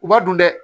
U b'a dun dɛ